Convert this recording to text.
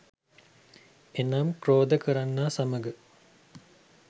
එනම් ක්‍රෝධ කරන්නා සමග